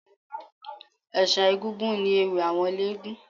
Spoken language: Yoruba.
Ẹ̀ṣà egúngún ni ewì àwọn eléégún